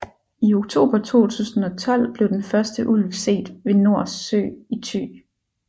I oktober 2012 blev den første ulv set ved Nors Sø i Thy